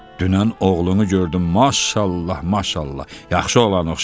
Dünən oğlunu gördüm, maşallah, maşallah, yaxşı oğlana oxşayır.